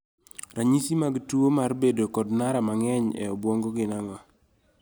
Ranyisi mag tuo mar bedo kod nara mang'eny e obwongo gin ang'o?